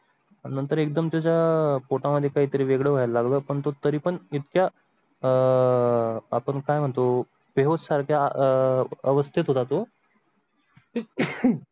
नंतर एकदम त्याच्या अह पोटा मध्ये काहीतरी वेगळं व्हाय ला लागला पण तो तरी पण इतक्या अह आपण काय म्हणतो बेहोश सारखा अह अवस्थेत होता तो.